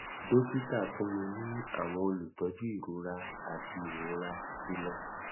dokita fun mi ni awọn olutọju irora ati irora ti lọ